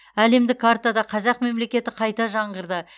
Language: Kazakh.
әлемдік картада қазақ мемлекеті қайта жаңғырды